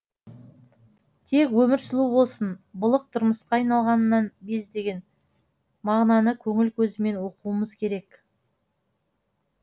тек өмір сұлу болсын былық тұрмысқа айналғанынан без деген мағынаны көңіл көзімен оқуымыз керек